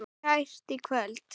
Vertu kært kvödd.